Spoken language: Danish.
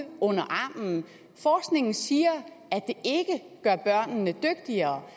under armen forskningen siger at det ikke gør børnene dygtigere